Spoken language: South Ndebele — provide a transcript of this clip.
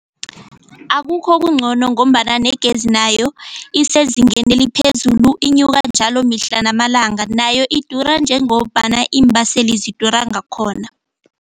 Akukho okungcono ngombana negezi nayo isezingeni eliphezulu inyuka njalo mihla namalanga nayo idura njengombana iimbaseli zidura ngakhona.